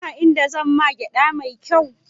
Ka san a inda zan man gyaɗa mai kyau?